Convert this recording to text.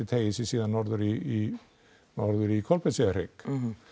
teygir sig síðan norður í norður í Kolbeinseyjarhrygg